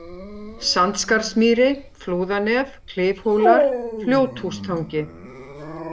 Sandskarðsmýri, Flúðanef, Klifhólar, Fljóthústangi